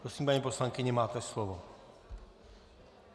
Prosím, paní poslankyně, máte slovo.